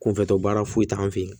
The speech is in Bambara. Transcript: Kunfɛtɔ baara foyi t'an fɛ yen